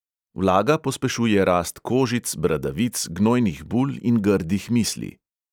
Vlaga pospešuje rast kožic, bradavic, gnojnih bul in grdih misli.